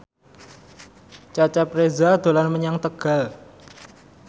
Cecep Reza dolan menyang Tegal